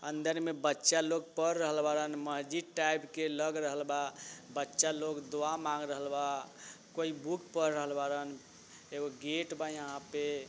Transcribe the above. अंदर में बच्चा लोग पढ़ रहल बाड़न महजिद टाइप के लग रहल बा बच्चा लोग दुआ मांग रहल बा कोई बुक पढ़ रहल बाड़न एगो गेट बा यहाँ पे।